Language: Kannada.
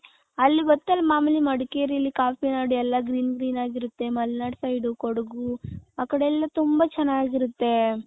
ಅಲ್ಲಿ ಗೋತ್ ಅಲ್ಲ ಮಾಮೂಲಿ ಮಡಕೇರಿಯಲ್ಲಿ ಕಾಫಿ ನಾಡ್ ಎಲ್ಲಾ green green ಆಗಿ ಇರುತ್ತೆ . ಮಲ್ನಾಡ್ side ಕೊಡಗು ಆ ಕಡೆ ಎಲ್ಲಾ ತುಂಬಾ ಚೆನ್ನಾಗಿರುತ್ತೆ .